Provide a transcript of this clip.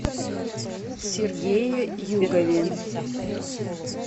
сергее югове